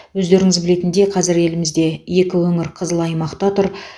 өздеріңіз білетіндей қазір елімізде екі өңір қызыл аймақта тұр